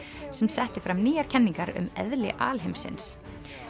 sem setti fram nýjar kenningar um eðli alheimsins